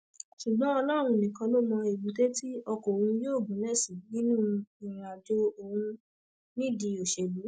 ṣùgbọn ọlọrun nìkan ló mọ èbúté tí ọkọ òun yóò gúnlẹ sí nínú ìrìnàjò òun nídìí òṣèlú